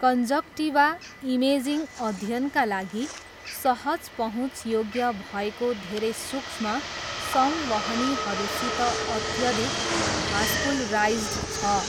Conjunctiva, imaging अध्ययनका लागि सहज पहुँचयोग्य भएको धेरै सुक्ष्म संवहनीहरूसित अत्यधिक भास्कुलराइज्ड छ।